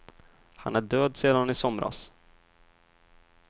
Han är död sedan i somras.